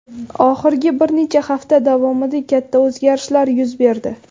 Oxirgi bir necha hafta davomida katta o‘zgarishlar yuz berdi.